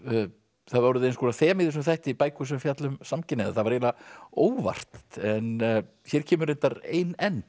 það hafi orðið eins konar þema í þessum þætti bækur sem fjalla um samkynhneigða það var eiginlega óvart en hér kemur reyndar ein enn